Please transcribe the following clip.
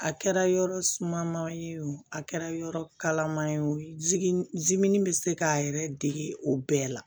A kɛra yɔrɔ suma man ye o a kɛra yɔrɔ kalaman ye o jiginnin bɛ se k'a yɛrɛ dege o bɛɛ la